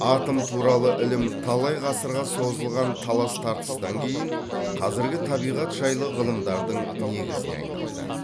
атом туралы ілім талай ғасырға созылған талас тартыстан кейін қазіргі табиғат жайлы ғылымдардың негізіне айналды